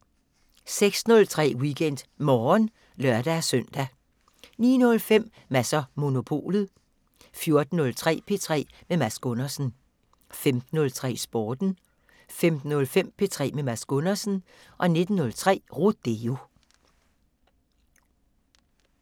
06:03: WeekendMorgen (lør-søn) 09:05: Mads & Monopolet 14:03: P3 med Mads Gundersen 15:03: Sporten 15:05: P3 med Mads Gundersen 19:03: Rodeo